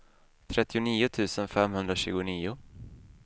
trettionio tusen femhundratjugonio